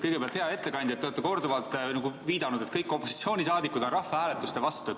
Kõigepealt, hea ettekandja, te olete korduvalt viidanud, et kõik opositsiooni liikmed on rahvahääletuse vastu.